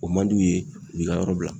O man d'u ye u b'i ka yɔrɔ bila.